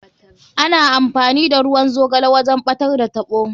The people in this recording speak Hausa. Ana amfani da ruwan zogale wajen ɓatar da taɓo.